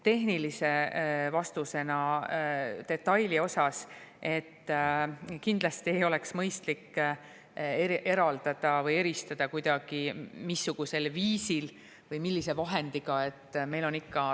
Tehnilise vastusena detaili osas: kindlasti ei oleks mõistlik kuidagi eraldada või eristada, missugusel viisil või millise vahendiga.